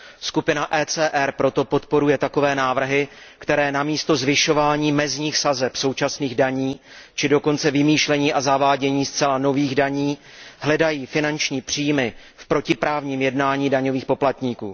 Skupina ECR proto podporuje takové návrhy, které na místo zvyšování mezních sazeb současných daní, či dokonce vymýšlení a zavádění zcela nových daní hledají finanční příjmy v protiprávním jednání daňových poplatníků.